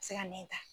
Se ka nɛn ta